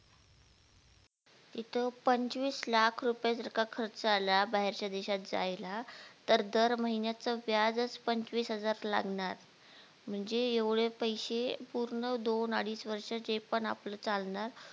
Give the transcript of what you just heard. तिथं पंचवीस लाख रुपये जर का खर्च आला बाहेरच्या देशात जायला तर दर महिन्याच व्याज च पंचवीस हजार लागणार म्हणजे एवढे पैसे पूर्ण दोन अडीच वर्ष जे पण आपल चालणार